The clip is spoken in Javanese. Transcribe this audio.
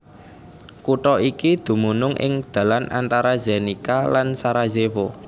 Kutha iki dumunung ing dalan antara Zenica lan Sarajevo